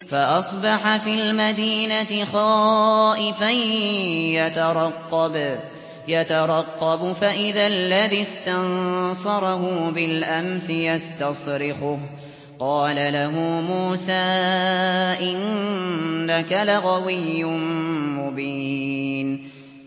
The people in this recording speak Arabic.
فَأَصْبَحَ فِي الْمَدِينَةِ خَائِفًا يَتَرَقَّبُ فَإِذَا الَّذِي اسْتَنصَرَهُ بِالْأَمْسِ يَسْتَصْرِخُهُ ۚ قَالَ لَهُ مُوسَىٰ إِنَّكَ لَغَوِيٌّ مُّبِينٌ